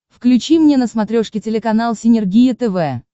включи мне на смотрешке телеканал синергия тв